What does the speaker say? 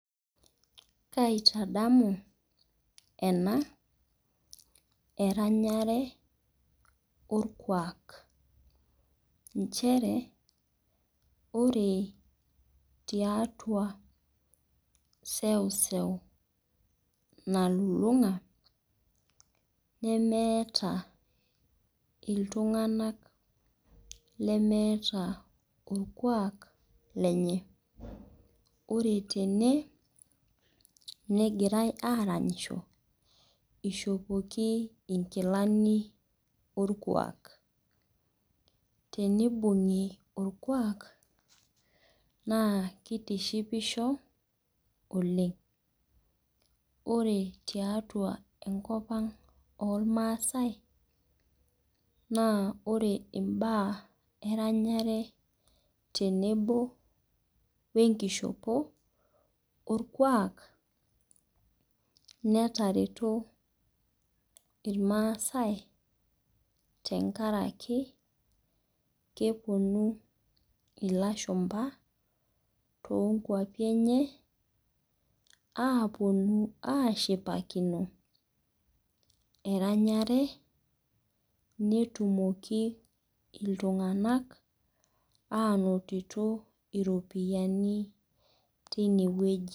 Kaitadamu en eranyare olkuak, nchere ore tiatua seuseu nalulung'a nemeata iltung'anak lemeata olkuak lenye. Ore tene negirai aranyisho, eishopoki inkilani olkuak. Teneibung'i olkuak naa keitishipisho oleng'. Ore tiatua enkop ang' oolmaasai naa ore imbaa eranyare, tenebo we enkishopo olkuaak, netareto ilmaasai tenkaraki kepuonu ilashumba too nkwapi enye apuonu aashipakino eranyare netumoki iltung'ana ainoto iropiani teine wueji.